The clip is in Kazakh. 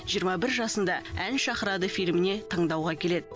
жиырма бір жасында ән шақырады фильміне таңдауға келеді